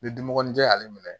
Ni dunmɔgɔninjɛ y'ale minɛ